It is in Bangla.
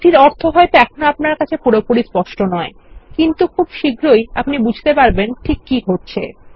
এটির অর্থ হয়ত এখন আপনার কাছে পুরোপুরি স্পষ্ট নয় কিন্তু খুব শীঘ্রই আমরা বুঝতে পারব ঠিক কি ঘটছে